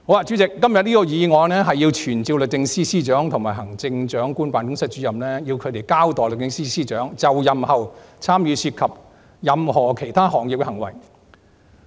主席，今天的議案是傳召律政司司長及行政長官辦公室主任，交代律政司司長就任後參與涉及任何其他行業的行為。